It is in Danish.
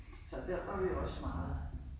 Så der var vi jo også meget